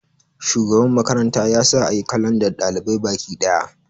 shugaban makaranta ya sa a yi kalandar ɗalibai Bakiɗaya